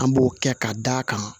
An b'o kɛ ka d'a kan